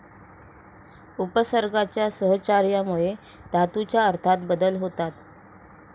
उपसर्गांच्या सहचार्यामुळे धातूच्या अर्थात बदल होतात.